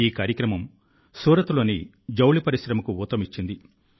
ఈ కార్యక్రమం సూరత్లోని టెక్స్టైల్ పరిశ్రమకు ఊతమిచ్చింది